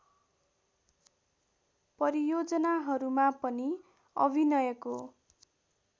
परियोजनाहरूमा पनि अभिनयको